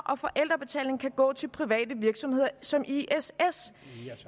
og forældrebetaling kan gå til private virksomheder som iss